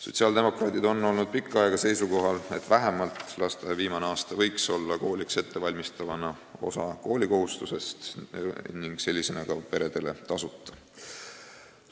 Sotsiaaldemokraadid on pikka aega olnud seisukohal, et vähemalt lasteaia viimane aasta kooliks ettevalmistava osana võiks peredele tasuta olla.